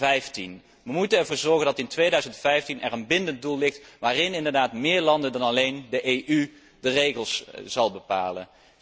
2015. We moeten ervoor zorgen dat er in 2015 een bindend doel ligt, waarbij meer landen dan alleen de EU de regels zullen bepalen.